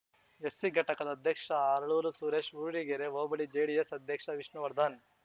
SC ಘಟಕದ ಅಧ್ಯಕ್ಷ ಹರಳೂರು ಸುರೇಶ್ ಊರ್ಡಿಗೆರೆ ಹೋಬಳಿ ಜೆಡಿಎಸ್ ಅಧ್ಯಕ್ಷ ವಿಷ್ಣುವರ್ಧನ್